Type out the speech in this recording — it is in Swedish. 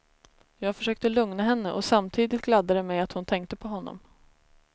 Jag försökte lugna henne, och samtidigt gladde det mig att hon tänkte på honom.